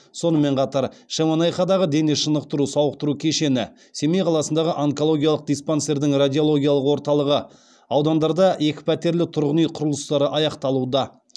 сонымен қатар шемонаихадағы дене шынықтыру сауықтыру кешені семей қаласындағы онкологиялық диспансердің радиологиялық орталығы аудандарда екіпәтерлі тұрғын үй құрылыстары аяқталуда